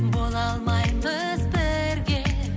бола алмаймыз бірге